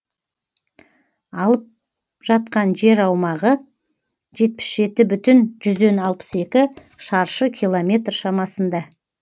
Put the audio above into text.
алып жатқан жер аумағы жетпіс жеті бүтін жүзден алпыс екі шаршы километр шамасында